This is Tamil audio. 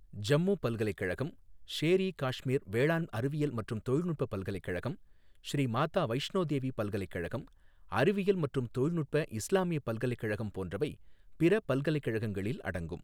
ஜம்மு பல்கலைக்கழகம், ஷேர் இ காஷ்மீர் வேளாண் அறிவியல் மற்றும் தொழில்நுட்ப பல்கலைக்கழகம், ஸ்ரீ மாதா வைஷ்ணோ தேவி பல்கலைக்கழகம், அறிவியல் மற்றும் தொழில்நுட்ப இஸ்லாமிய பல்கலைக்கழகம் போன்றவை பிற பல்கலைக்கழகங்களில் அடங்கும்.